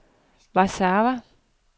Warszawa